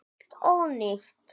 Allt ónýtt!